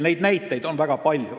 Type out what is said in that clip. Neid näiteid on väga palju.